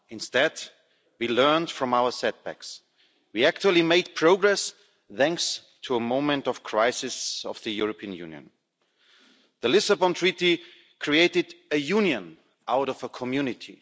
instead, we learned from our setbacks, we actually made progress thanks to a moment of crisis of the European Union. The Lisbon Treaty created a union out of a community.